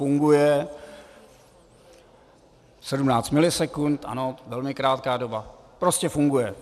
Funguje, 17 milisekund, ano, velmi krátká doba, prostě funguje.